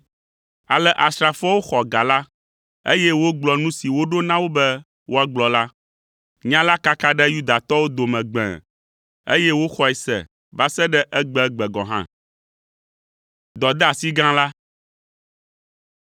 Ale asrafoawo xɔ ga la, eye wogblɔ nu si woɖo na wo be woagblɔ la. Nya la kaka ɖe Yudatɔwo dome gbẽe, eye woxɔe se va se ɖe egbegbe gɔ̃ hã.